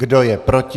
Kdo je proti?